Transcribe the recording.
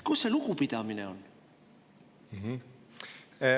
Kus see lugupidamine on?